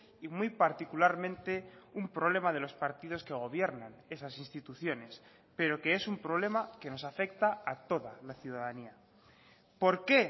y muy particularmente un problema de los partidos que gobiernan esas instituciones pero que es un problema que nos afecta a toda la ciudadanía por qué